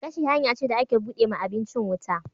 Gashi hanya ce da ake bude ma abincin wuta.